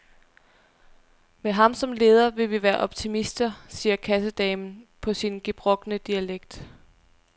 Med ham som leder vil vi være optimister, siger kassedamen på sin gebrokne dialekt.